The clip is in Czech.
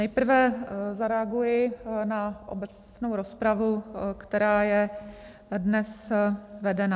Nejprve zareaguji na obecnou rozpravu, která je dnes vedena.